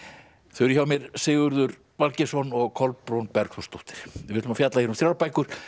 þau eru hjá mér Sigurður Valgeirsson og Kolbrún Bergþórsdóttir við ætlum að fjalla hér um þrjár bækur